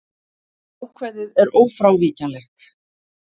Ákvæðið er ófrávíkjanlegt.